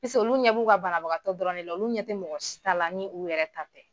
Paseke ulu ɲɛ b'u ka banabagatɔ dɔrɔn de la olu ɲɛ tɛ mɔgɔsi ta la ni u yɛrɛ ta tɛ.